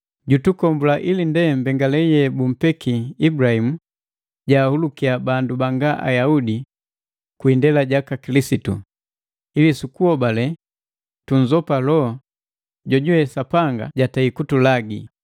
Kilisitu jutukombula kuhuma mu yaa mbamba ya malagalaki sukujuku yambamba hei ndaba jitu, ndaba Maandiku gapwaga: “Jokapi jojubambaliwai munsalaba jupatiki ya mbamba.”